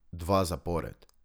Dva zapored.